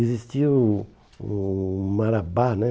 Existia o o Marabá, né?